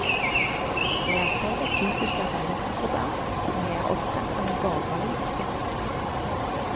Jeg er selv et typisk arbeiderklassebarn, men jeg er opptatt av en borgerlig estetikk.